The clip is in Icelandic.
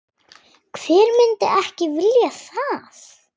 Hver myndi ekki vilja það?